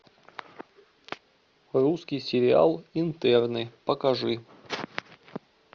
русский сериал интерны покажи